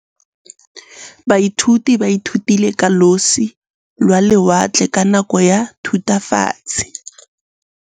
Baithuti ba ithutile ka losi lwa lewatle ka nako ya Thutafatshe.